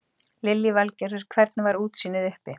Lillý Valgerður: Hvernig var útsýnið uppi?